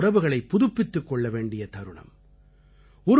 அப்படிப்பட்ட உறவுகளைப் புதுப்பித்துக் கொள்ள வேண்டிய தருணம்